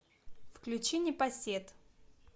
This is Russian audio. включи непосед